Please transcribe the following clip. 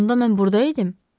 Axı onda mən burda idim.